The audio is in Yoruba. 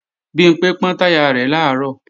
Bimpé pọ́n táyà rẹ̀ làárọ̀